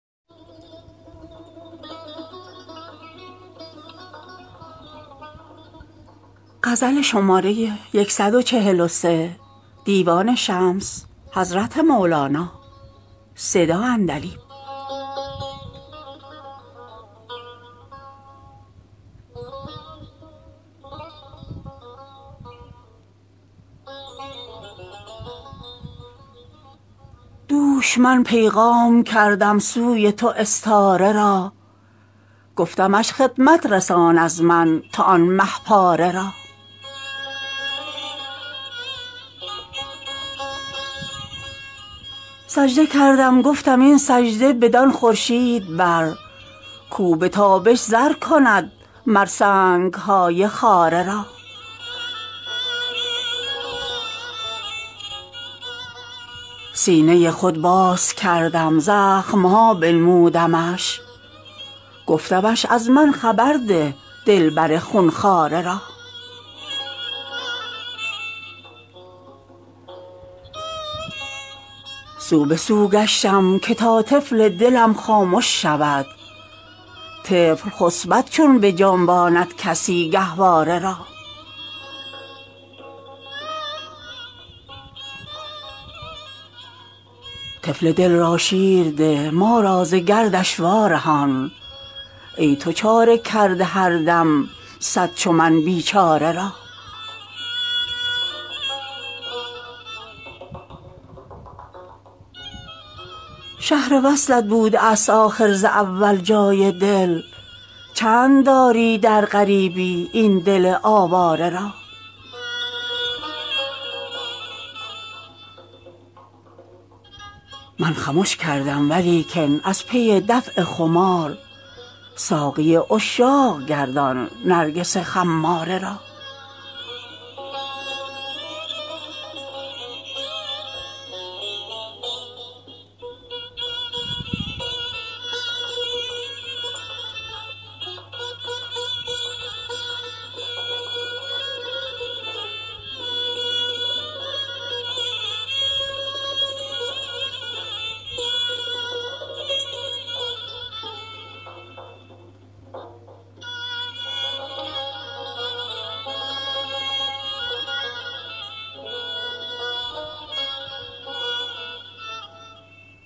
دوش من پیغام کردم سوی تو استاره را گفتمش خدمت رسان از من تو آن مه پاره را سجده کردم گفتم این سجده بدان خورشید بر کاو به تابش زر کند مر سنگ های خاره را سینه ی خود باز کردم زخم ها بنمودمش گفتمش از من خبر ده دلبر خون خواره را سو به سو گشتم که تا طفل دلم خامش شود طفل خسپد چون بجنباند کسی گهواره را طفل دل را شیر ده ما را ز گردش وارهان ای تو چاره کرده هر دم صد چو من بیچاره را شهر وصلت بوده است آخر ز اول جای دل چند داری در غریبی این دل آواره را من خمش کردم ولیکن از پی دفع خمار ساقی عشاق گردان نرگس خماره را